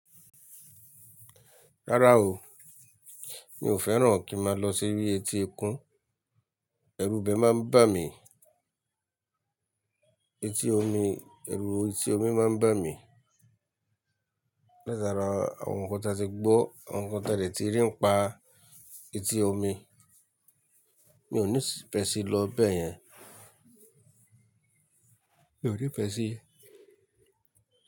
Rárá o, mi ò fẹ́ràn kí máa lọ sí orí etí ẹkún, ẹrú ibẹ̀ máa ń bà mí, etí omi, ẹrú etí omi máa ń bà mí. Lẹ́sàráà, àwọn nǹkan tí a ti gbọ́, àwọn nǹkan tí a dè tí rí ń pa etí omi, mi ò ní fẹ̀ sí lọ bẹ́ẹ̀ yẹn. Mi ò ní pẹ̀ sí.